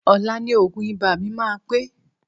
Ọ̀la ni òògùn ibà mi máa pé